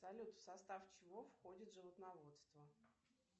салют в состав чего входит животноводство